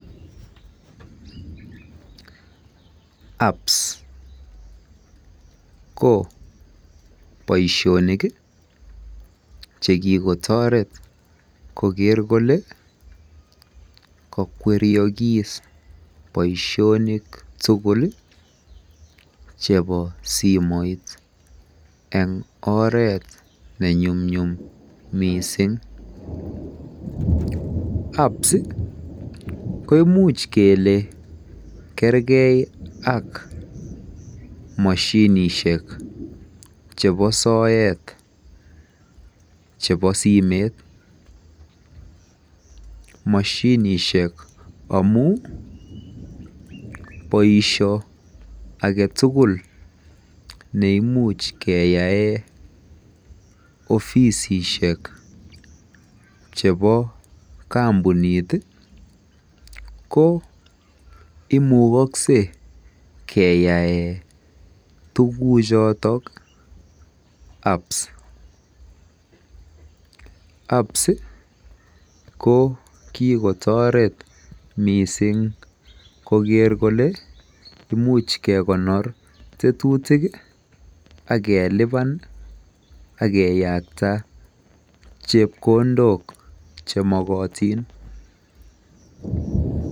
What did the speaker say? apps ko boishonik iih chegigotoret kogeer kole kokweryogiis boishonik tugul iih chebo simoit en oreet nenyumnyum mising, apps iih koimuch kelee kergee ak moshinishek chebo soet chebo simeet, moshinishek amuun boisho agetugul neeimuch keyaee ofisisiek chebo kompuniit iih ko imukogse keyaen tuguuk choton apps, apps iih ko kigotoret mising kogeer kole imuuch kegonoor tetutik iih ak keliban ak keyakta chepkondook chemokotiin.